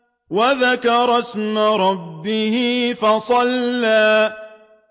وَذَكَرَ اسْمَ رَبِّهِ فَصَلَّىٰ